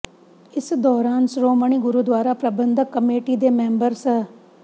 ਇਸ ਦੌਰਾਨ ਸ਼੍ਰੋਮਣੀ ਗੁਰਦੁਆਰਾ ਪ੍ਰਬੰਧਕ ਕਮੇਟੀ ਦੇ ਮੈਂਬਰ ਸ